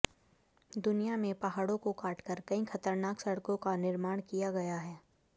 दुनिया में पहाड़ों को काटकर कई खतरनाक सड़कों का निर्माण किया गया है